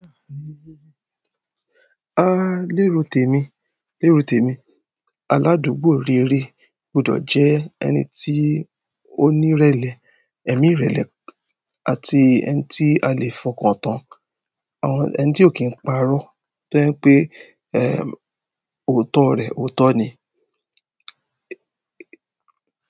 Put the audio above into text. Lérò tèmi, lérò tèmi. Aládùúgbò rere gbọ́dọ̀ jẹ́ ẹni tí ó ní ìrẹ̀lẹ̀, ẹ̀mí ìrẹ̀lẹ̀ àti ẹni tí a lè fọkàn tán. Àwọn ẹni tí ò kí ń parọ́ tó jẹ́ pe, òótọ́ rẹ̀ òótọ́ ni.